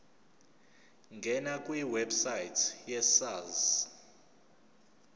ngena kwiwebsite yesars